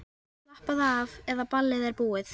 Slappaðu af, eða ballið er búið.